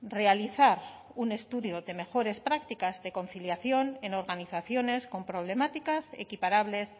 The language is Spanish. realizar un estudio de mejores prácticas de conciliación en organizaciones con problemáticas equiparables